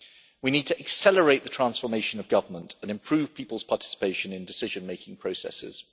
We need to accelerate the transformation of government and improve people's participation in decision making processes.